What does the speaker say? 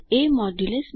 ab